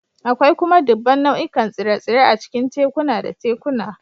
Akwai kuma dubban nau'ikan tsire-tsire a cikin tekuna da tekuna